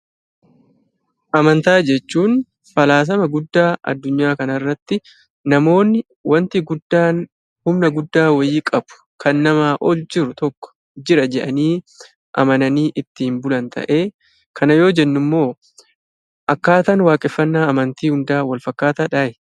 Amantaa jechuun falaasama guddaa addunyaa kana irratti namoonni wanti guddaan, humna guddaa wayii qabu kan namaa ol jiru tokko jira jedhanii, amananii ittiin bulan ta'ee, kana yoo jennu immoo akkaataan waaqeffannaa amantii hundaa wal fakkaataadhaa?